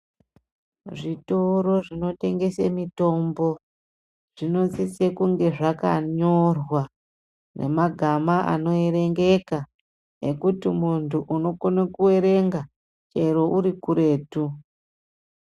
Zvitoro zvinotengese mitombo, zvinosise kunge zvakanyorwa nemagama anoyerengeka ekuti muntu unokone kuwerenga chero urikuretu.